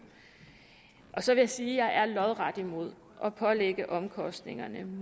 så vil jeg sige at jeg er lodret imod at pålægge omkostningerne